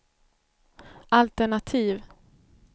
altenativ